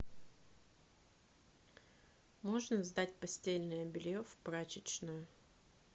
можно сдать постельное белье в прачечную